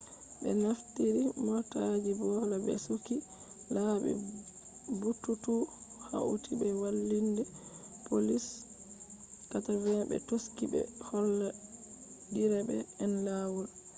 be naftiri motaaji boola be sukki laabi buutuutu hauti be walliinde poliis 80 be do taski ɓe holla direba en laawol